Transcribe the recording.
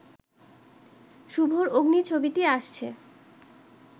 শুভর 'অগ্নি' ছবিটি আসছে